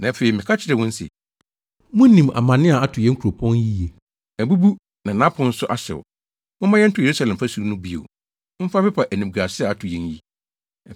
Na afei, meka kyerɛɛ wɔn se, “Munim amanne a ato yɛn kuropɔn yi yiye. Abubu na nʼapon nso ahyew. Momma yɛnto Yerusalem fasu no bio mfa mpepa animguase a ato yɛn yi!”